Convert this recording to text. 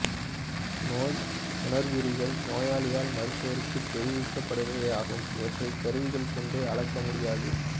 நோய் உணர்குறிகள் நோயாளியால் மருத்துவருக்கு தெரிவிக்கப்படுபவையாகும் இவற்றை கருவிகள் கொண்டு அளக்கமுடியாது